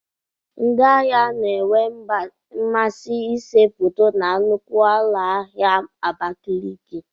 Ndị ahịa na-enwe mmasị ịse foto na nnukwu ụlọ ahịa Abakaliki.